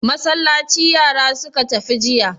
Masallaci yara suka tafi jiya.